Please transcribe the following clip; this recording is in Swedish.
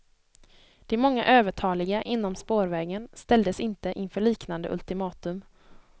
De många övertaliga inom spårvägen ställdes inte inför liknande ultimatum.